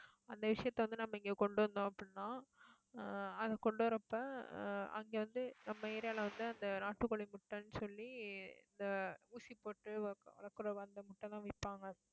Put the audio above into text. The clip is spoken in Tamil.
அந்த விஷயத்த வந்து, நம்ம இங்க கொண்டு வந்தோம் அப்படின்னா ஆஹ் அதை கொண்டு வரப்ப ஆஹ் அங்க வந்து, நம்ம area ல வந்து, அந்த நாட்டுக்கோழி முட்டைன்னு சொல்லி இந்த ஊசி போட்டு அந்த முட்டை எல்லாம் விப்பாங்க